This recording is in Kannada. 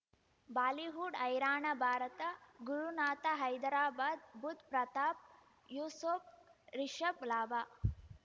ಬಾಲಿಹುಡ್ ಹೈರಾಣ ಭಾರತ ಗುರುನಾಥ ಹೈದರಾಬಾದ್ ಬುಧ್ ಪ್ರತಾಪ್ ಯೂಸುಫ್ ರಿಷಬ್ ಲಾಭ